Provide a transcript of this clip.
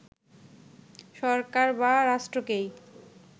সরকার বা রাষ্ট্রকেই